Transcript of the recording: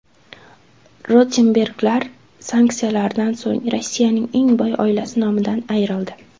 Rotenberglar sanksiyalardan so‘ng Rossiyaning eng boy oilasi nomidan ayrildi.